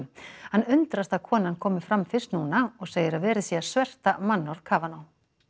hann undrast að konan komi fram fyrst núna og segir að verið sé að sverta mannorð Kavanaugh